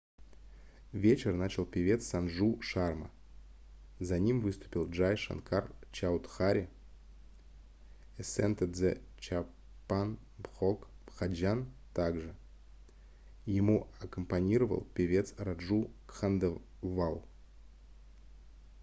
вечер начал певец санджу шарма за ним выступил джай шанкар чаудхари esented the chhappan bhog bhajan также ему аккомпанировал певец раджу кханделвал